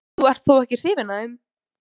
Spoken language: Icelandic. Þú ert þó ekki hrifin af þeim?